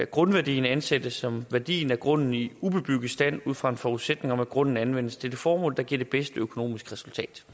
grundværdien ansættes som værdien af grunden i ubebygget stand ud fra en forudsætning om at grunden anvendes til det formål der giver det bedste økonomiske resultat